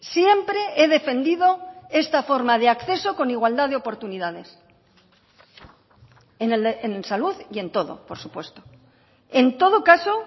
siempre he defendido esta forma de acceso con igualdad de oportunidades en salud y en todo por supuesto en todo caso